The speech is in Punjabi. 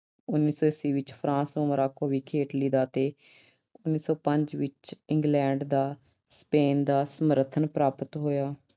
ਉਨੀ ਸੌ ਈਸਵੀ ਵਿੱਚ France ਨੂੰ Morocco ਵਿਖੇ Italy ਦਾ ਅਤੇ ਉਨੀ ਸੌ ਪੰਜ ਵਿੱਚ England ਦਾ Spain ਦਾ ਸਮਰਥਨ ਪ੍ਰਾਪਤ ਹੋਇਆ।